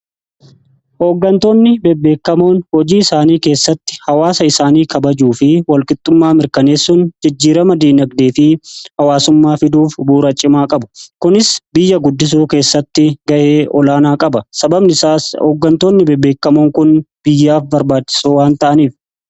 ekoon hojii isaanii keessatti hawaasa isaanii kabajuu fi walqixxummaa mirkaneessun jejjiirama diinagdee fi hawaasummaa fiduuf buuracimaa qabu kunis biyya guddisuu keessatti ga'ee olaanaa qaba sababnooggantoonni beebeekamoon kun biyyaaf barbaadisoo waan ta'aniif